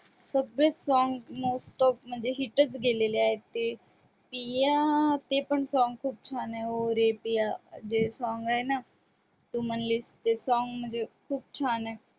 सगळे song मस्तच म्हणजे hit च गेलेले आहेत ते पिया ते पण song खूप छान आहे ओ रे पिया जे song आहे ना तू म्हणलीस ते song म्हणजे खूप छान आहे